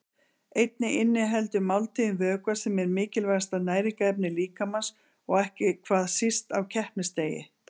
Einnig inniheldur máltíðin vökva sem er mikilvægasta næringarefni líkamans og ekki hvað síst á keppnisdegi.